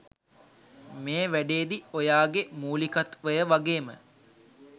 මේ වැඩේදි ඔයාගේ මූලිකත්වය වගේම